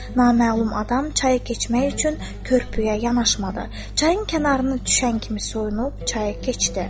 Naməlum adam çayı keçmək üçün körpüyə yanaşmadı, çayın kənarını düşən kimi soyunub çayı keçdi.